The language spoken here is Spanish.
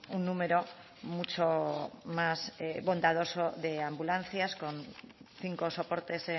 un número mucho más bondadoso de ambulancias con cinco soportes